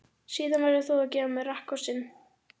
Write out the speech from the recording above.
Síðan verður þú að gefa mér rakkossinn.